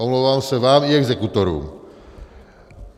Omlouvám se vám i exekutorům.